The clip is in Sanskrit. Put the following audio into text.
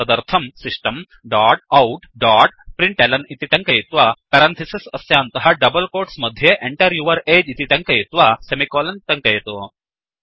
तदर्थं system dot out dot println इति टङ्कयित्वा पेरन्थिसिस् अस्यान्तः डबल् कोट्स् मध्ये Enter यौर् अगे इति लिखित्वा सेमिकोलन् टङ्कयतु